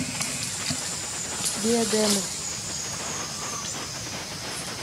диадема